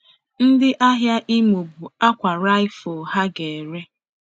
Ndị ahịa Imo bu àkwà raffia ha ga ere.